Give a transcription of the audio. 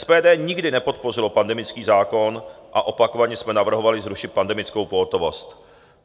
SPD nikdy nepodpořila pandemický zákon a opakovaně jsme navrhovali zrušit pandemickou pohotovost.